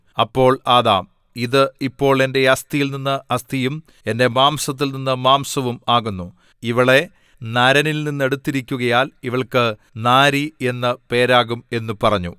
അപ്പോൾ ആദാം ഇത് ഇപ്പോൾ എന്റെ അസ്ഥിയിൽ നിന്നു അസ്ഥിയും എന്റെ മാംസത്തിൽനിന്നു മാംസവും ആകുന്നു ഇവളെ നരനിൽനിന്ന് എടുത്തിരിക്കുകയാൽ ഇവൾക്ക് നാരി എന്ന് പേരാകും എന്നു പറഞ്ഞു